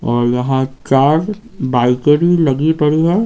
और यहां चार बाइकरी लगी पड़ी है।